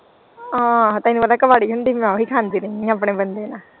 ਆਹ ਤੈਨੂੰ ਪਤਾ ਕਵਾਰੇ ਹੁੰਦਿਆਂ ਮੈਂ ਉਹ ਖਾਂਦੀ ਰਹੀ ਆਪਣੇ ਬੰਦੇ ਨਾਲ।